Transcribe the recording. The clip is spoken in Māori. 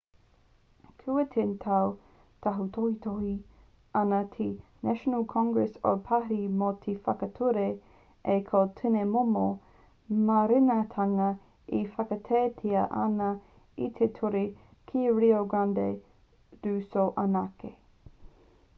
kua 10 tau e tautohetohe ana te national congress o parihi mō te whakature ā ko tēnei momo mārenatanga e whakaaetia ana e te ture ki rio grande do sul anake